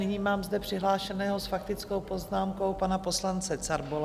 Nyní mám zde přihlášeného s faktickou poznámkou, pana poslance Carbola.